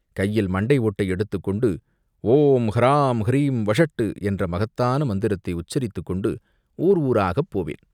கையில் மண்டை ஓட்டை எடுத்துக்கொண்டு ஓம் ஹ்ராம் ஹ்ரீம் வஷட்டு என்ற மகத்தான மந்திரத்தை உச்சரித்துக் கொண்டு ஊர் ஊராகப் போவேன்